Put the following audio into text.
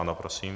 Ano, prosím.